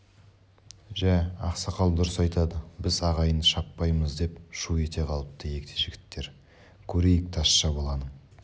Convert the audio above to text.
жә ақсақал дұрыс айтады біз ағайынды шаппаймыз деп шу ете қалыпты егде жігіттер көрейік тазша баланың